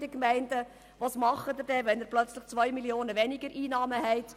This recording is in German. Was tun Sie, wenn Sie auf einmal über 2 Mio. Franken weniger Einnahmen verfügen?